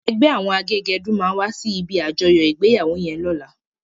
Ègbè áwòn àgégèdú má wàsí ibi ájòyò igbéyáwó yèn lòlá